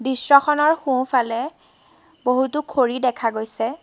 দৃশ্যখনৰ সোঁফালে বহুতো খৰি দেখা গৈছে।